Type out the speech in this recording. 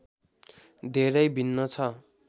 धेरै भिन्न छ